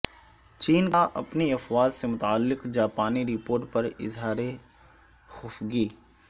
چین کا اپنی افواج سے متعلق جاپانی رپورٹ پر اظہار خفگی